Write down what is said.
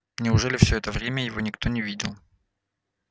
неужели всё это время его никто не видел